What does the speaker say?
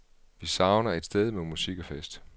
Vi savner et sted med musik og fest.